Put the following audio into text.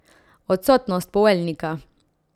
Odsotnost poveljnika.